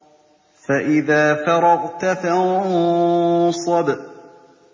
فَإِذَا فَرَغْتَ فَانصَبْ